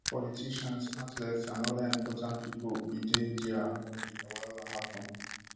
politicians athletes and oda important pipo bin dey dia wen di wahala happun